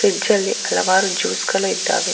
ಫ್ರಿಜ್ಜಲ್ಲಿ ಹಲವಾರು ಜ್ಯೂಸ್ ಗಳು ಇದ್ದಾವೆ.